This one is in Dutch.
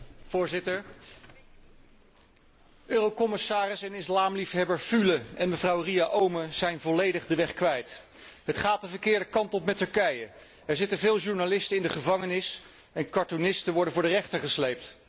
Voorzitter, commissaris en islamliefhebber Füle en mevrouw Ria Oomen Ruijten zijn volledig de weg kwijt. Het gaat de verkeerde kant op met Turkije. Er zitten veel journalisten in de gevangenis en cartoonisten worden voor de rechter gesleept.